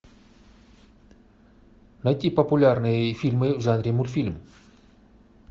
найти популярные фильмы в жанре мультфильм